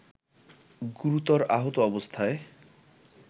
গুরুতর আহত অবস্থায়